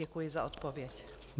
Děkuji za odpověď.